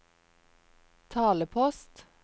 talepost